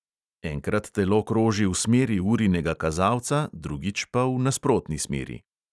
Enkrat telo kroži v smeri urinega kazalca, drugič pa v nasprotni smeri.